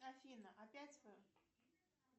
афина опять вы